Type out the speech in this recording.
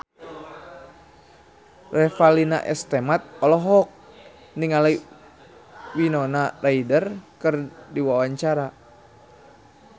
Revalina S. Temat olohok ningali Winona Ryder keur diwawancara